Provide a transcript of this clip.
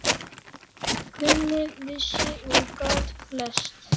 Kunni, vissi og gat flest.